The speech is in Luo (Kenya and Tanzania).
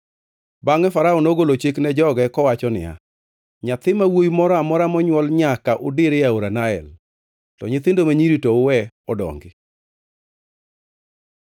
Bangʼe Farao nogolo chik ne joge kowacho niya, “Nyathi ma wuowi moro amora monywol nyaka udir e aora Nael, to nyithindo ma nyiri to uwe odongi.”